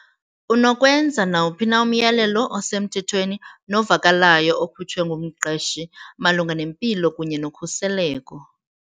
Unokwenza nawuphi na umyalelo osemthethweni novakalayo okhutshwe ngumqeshi malunga nempilo kunye nokhuseleko.